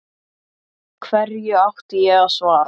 Hverju átti ég að svara.